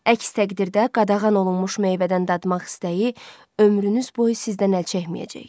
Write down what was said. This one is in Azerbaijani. Əks təqdirdə qadağan olunmuş meyvədən dadmaq istəyi ömrünüz boyu sizdən əl çəkməyəcək.